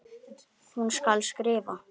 Hún skal skrifa!